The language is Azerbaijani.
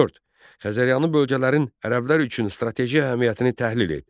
Dörd, Xəzəryanı bölgələrin ərəblər üçün strateji əhəmiyyətini təhlil et.